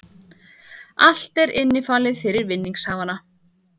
Allt er innifalið fyrir vinningshafana